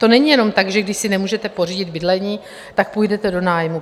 To není jenom tak, že když si nemůžete pořídit bydlení, tak půjdete do nájmu.